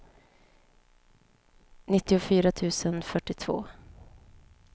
nittiofyra tusen fyrtiotvå